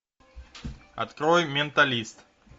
открой менталист